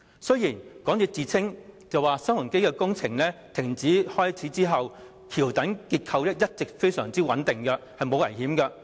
雖然港鐵公司聲稱新鴻基地產的工程停工後，橋躉結構一直非常穩定，沒有危險。